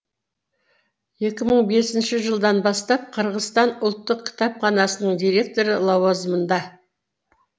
екі мың бесінші жылдан бастап қырғызстан ұлттық кітапханасының директоры лауазамында